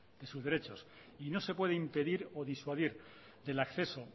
y sus derechos y no se puede impedir o disuadir del acceso